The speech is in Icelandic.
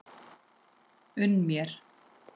Unn mér!